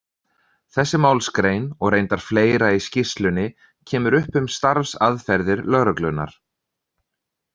Þessi málsgrein, og reyndar fleira í skýrslunni, kemur upp um starfsaðferðir lögreglunnar.